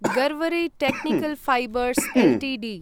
Garware technical fibres Ltd